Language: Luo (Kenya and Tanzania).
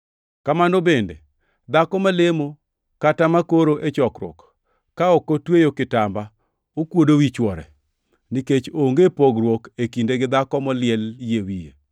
Kamano bende dhako malemo kata makoro e chokruok, ka ok otweyo kitamba okuodo wi chwore, nikech onge pogruok e kinde gi dhako moliel yie wiye.